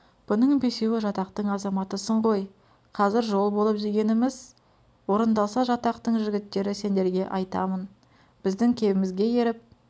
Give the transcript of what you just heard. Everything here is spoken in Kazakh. бұның бесеуі жатақтың азаматысың ғой қазір жол болып дегеніміз орындалса жатақтың жігіттері сендерге айтамын біздің кебімізге еріп